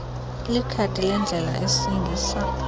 likhadi lendlela esingisa